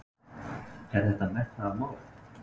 Er þetta metnaðarmál?